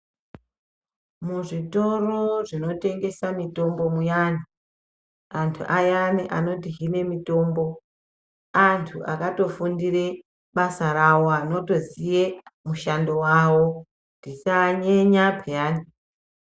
Muzvitoro zvinotengesa mitombo muyani, antu ayani anotihine mitombo antu akatofundire basa rawo, anotoziye mushando wawo, tisaanyenya peyani.